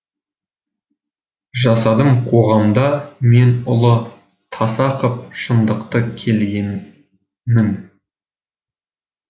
жасадым қоғамда мен ұлы таса қып шындықты келгенмін